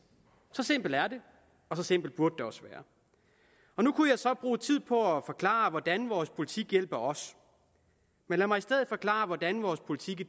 så simpelt er det og så simpelt burde det også være nu kunne jeg så bruge tid på at forklare hvordan vores politik hjælper os men lad mig i stedet forklare hvordan vores politik i